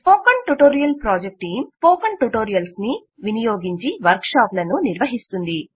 spoken tutorial project team spoken ట్యుటోరియల్స్ను వినియోగించి వర్క్షాపులను నిర్వహిస్తుంది